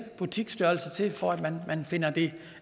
butiksstørrelse til for at det